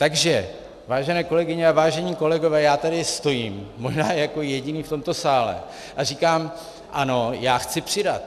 Takže vážené kolegyně a vážení kolegové, já tady stojím, možná jako jediný v tomto sále, a říkám - ano, já chci přidat.